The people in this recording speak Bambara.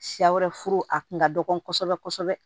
Siya wɛrɛ furu a kun ka dɔgɔ kosɛbɛ kosɛbɛ